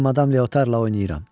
İndi madam Leotarla oynayıram.